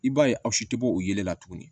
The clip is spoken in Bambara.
I b'a ye aw si tɛ bɔ o ye la tuguni